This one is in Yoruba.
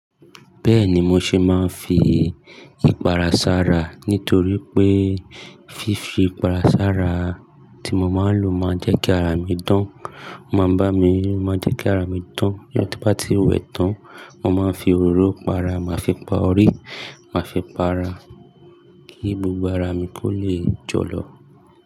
Bẹ́ẹ̀ni mo ṣé máa ń fi ìpara sára nítorí pé fífi ìpara sára tí mo máa ń lò máa ń jẹ́ kí ara mi dán. Ó máa ń bá mi, máa ń jẹ́ kí ara mi dán. Ní tó bá ti wẹ tán, mo máa ń fi òróró para, màá fi pa orí, màá fi para kí gbogbo ara mi kó lè jọ lọ.